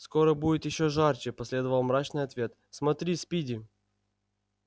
скоро будет ещё жарче последовал мрачный ответ смотри спиди